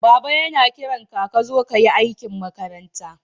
Baba yana kiran ka ka zo ka yi aikin makaranta.